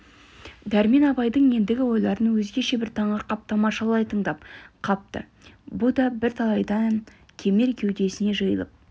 дәрмен абайдың ендігі ойларын өзгеше бір таңырқап тамашалай тыңдап қапты бұ да бірталайдан кемел кеудесіне жиылып